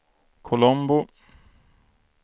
Colombo